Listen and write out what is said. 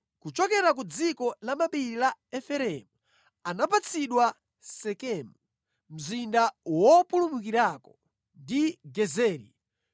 Kuchokera ku dziko lamapiri la Efereimu anapatsidwa Sekemu (mzinda wopulumukirako) ndi Gezeri,